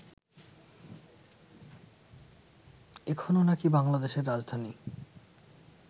এখনো নাকি বাংলাদেশের রাজধানী